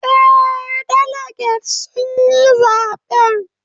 Eh, daliget sun yi zaben